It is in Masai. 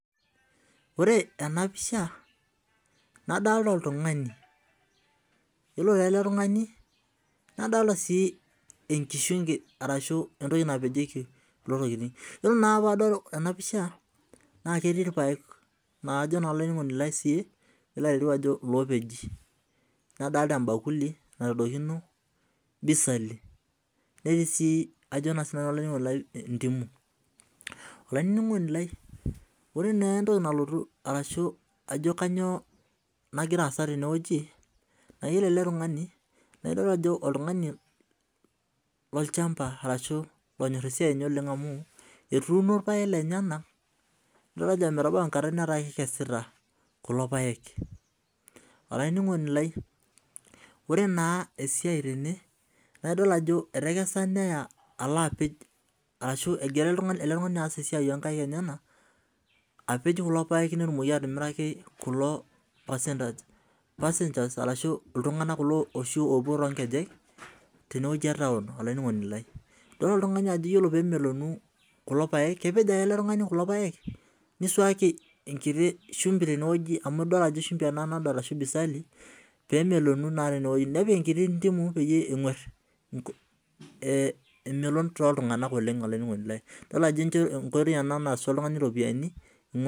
Ore enapisha nadolita oltungani iyolo eletungani nadolta enkishungi ashi entoki nadolita tene ore naa enapisha naketii irpaek la kajo nanu irpaek nadolita orbakuli pitadokino bisali netiibsi ajo na sinanu olaininingoni lai mdimu olaininingoni lai ore entoki nagira aasa tenew neaku oere ake naidol ajo oltungani lolchamba onyor olchamba lenye nidol ajo etubulutua irpaek ataa kekesita kulo paek olaininingoni lai ataduo ajo etekesa nelo apej ajo esiai onkaik enyenak apej kulo paekk petumoki atomiriaki passage tenewueji etaunidol eletungani ore pemeloku kepej ake eletungani kulo paek nisuaki enkiti shumbi amu idolta tenewoi nepik enkiti shumbi penguar emeloni.